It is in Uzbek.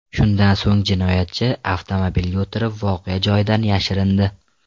Shundan so‘ng jinoyatchi avtomobiliga o‘tirib, voqea joyidan yashirindi.